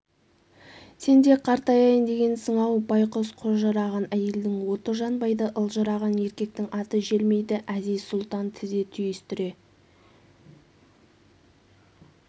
сен де қартаяйын дегенсің-ау байқұс қожыраған әйелдің оты жанбайды ылжыраған еркектің аты желмейді әзиз-сұлтан тізе түйістре